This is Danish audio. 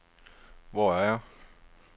Hvor er jeg